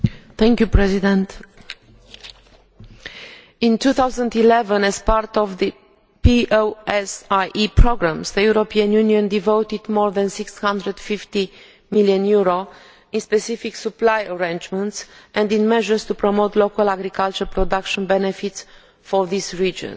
Mr President, in 2011, as part of the POSEI programmes, the European Union devoted more than EUR 650 million in specific supply arrangements and in measures to promote local agricultural production benefits for these regions.